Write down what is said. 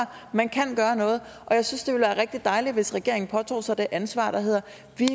man kan gøre noget og jeg synes det ville være rigtig dejligt hvis regeringen påtog sig det ansvar der hedder